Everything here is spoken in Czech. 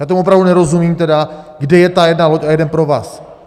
Já tomu opravdu nerozumím tedy, kde je ta jedna loď a jeden provaz!